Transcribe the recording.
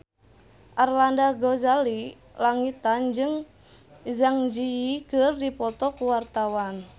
Arlanda Ghazali Langitan jeung Zang Zi Yi keur dipoto ku wartawan